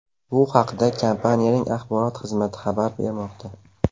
Bu haqda kompaniyaning axborot xizmati xabar bermoqda .